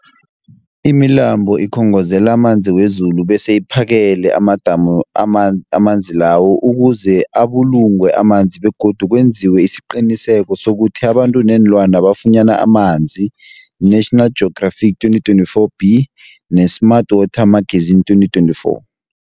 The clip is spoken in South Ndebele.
Imilambo ikhongozela amanzi wezulu bese iphakele amadamu aman amanzi lawo ukuze abulungwe amanzi begodu kwenziwe isiqiniseko sokuthi abantu neenlwana bafunyana amanzi, National Geographic 2024b, ne-Smart Water Magazine 2024.